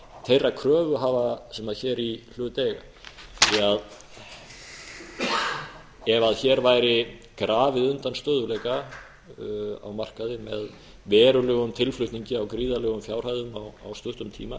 þeirra kröfuhafa sem hér í hlut eiga því ef hér væri grafið undan stöðugleika á markaði með verulegum tilflutningi á gríðarlegum fjárhæðum á stuttum tíma